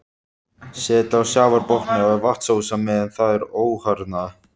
Set á sjávarbotni er vatnsósa meðan það er óharðnað.